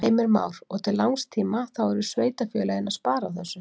Heimir Már: Og til langs tíma þá eru sveitarfélögin að spara á þessu?